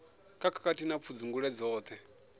kha khakhathi na pfudzungule dzoṱhe